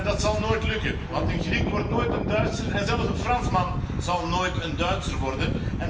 Dat zal nooit lukken want een Griek wordt nooit een Duitser en zelfs een Fransman zal nooit een Duitser worden.